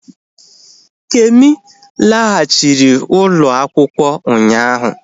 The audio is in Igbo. Kemi laghachiri ụlọ akwụkwọ ụnyaahụ